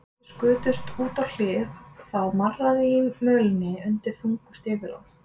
Þeir skutust út á hlið, það marraði í mölinni undan þungum stígvélunum.